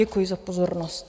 Děkuji za pozornost.